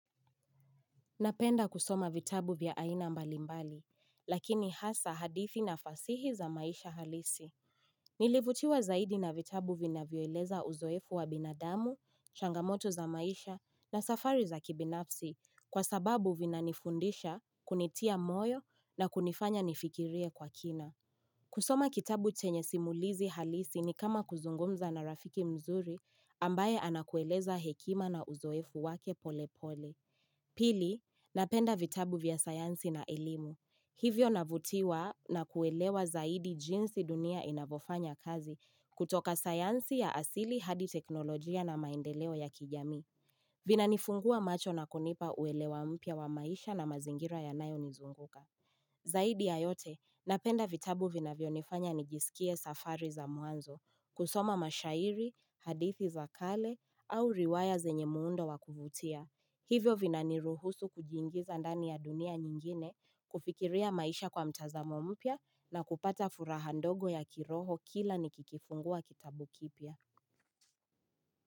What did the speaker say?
Napenda kusoma vitabu vya aina mbalimbali, lakini hasa hadithi na fasihi za maisha halisi. Nilivutiwa zaidi na vitabu vina vioeleza uzoefu wa binadamu, shangamoto za maisha na safari za kibinafsi kwa sababu vina nifundisha, kunitia moyo na kunifanya nifikirie kwa kina. Kusoma kitabu chenye simulizi halisi ni kama kuzungumza na rafiki mzuri ambaye anakueleza hekima na uzoefu wake pole pole. Pili, napenda vitabu vya sayansi na elimu. Hivyo navutiwa na kuelewa zaidi jinsi dunia inavofanya kazi kutoka sayansi ya asili hadi teknolojia na maendeleo ya kijami. Vinanifungua macho na kunipa uelewa mpya wa maisha na mazingira ya nayo nizunguka. Zaidi ya yote, napenda vitabu vina vionifanya nijisikie safari za mwanzo, kusoma mashairi, hadithi za kale au riwaya zenye muundo wakuvutia. Hivyo vinani ruhusu kujingiza ndani ya dunia nyingine kufikiria maisha kwa mtazamo mpya na kupata furaha ndogo ya kiroho kila nikikifungua kitabu kipya.